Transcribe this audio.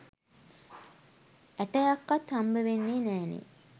ඇටයක්වත් හම්බවෙන්නේ නෑනේ